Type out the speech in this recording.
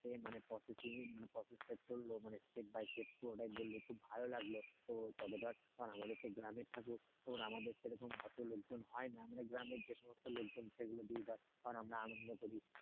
মানে process processing টা চলল মানে step by step বললি, খুব ভালো লাগলো তো তবে ধর আমাদের তো গ্রামের ঠাকুর আমারে সেরকম অতো লোকজন হয় না মানে গ্রামের যে সমস্ত লোকজন সেগুলো দিয়ে ধর আমরা আনন্দ করি,